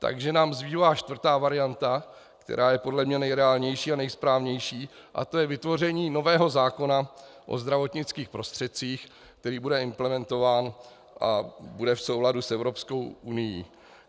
Takže nám zbývá čtvrtá varianta, která je podle mě nejreálnější a nejsprávnější, a to je vytvoření nového zákona o zdravotnických prostředcích, který bude implementován a bude v souladu s Evropskou unií.